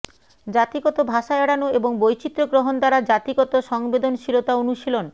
জাতিগত ভাষা এড়ানো এবং বৈচিত্র্য গ্রহণ দ্বারা জাতিগত সংবেদনশীলতা অনুশীলন